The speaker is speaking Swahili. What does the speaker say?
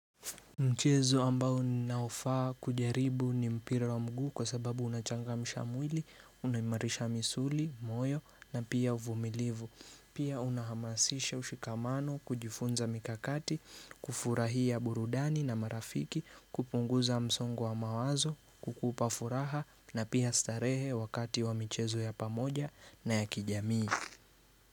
Mchezo ambao ninaofaa kujaribu ni mpira wa mgu kwa sababu unachangamsha mwili, unaimarisha misuli, moyo na pia uvumilivu. Pia unahamasisha ushikamano, kujifunza mikakati, kufurahia burudani na marafiki, kupunguza msongo wa mawazo, kukupa furaha na pia starehe wakati wa michezo ya pamoja na ya kijamii.